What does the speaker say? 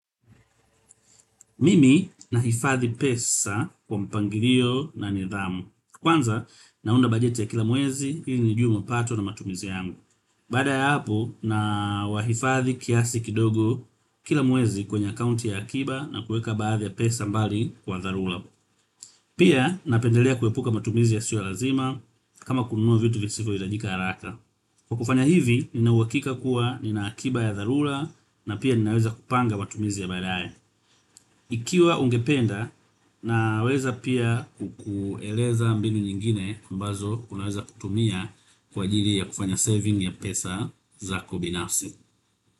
Mimi nahifadhi pesa kwa mpangilio na nidhamu. Kwanza naunda bajeti ya kila mwezi ili nijue mapato na matumizi yangu. Baada ya hapo na wahifadhi kiasi kidogo kila mwezi kwenye akaunti ya akiba na kueka baadhi ya pesa mbali kwa dharura. Pia napendelea kuepuka matumizi ya sio lazima kama kununua vitu visivyoitajika haraka. Kwa kufanya hivi, ninauhakika kuwa nina akiba ya dharura na pia ninaweza kupanga matumizi ya baadae. Ikiwa ungependa naweza pia kukueleza mbinu nyingine ambazo unaweza kutumia kwa ajili ya kufanya saving ya pesa zako binafsi.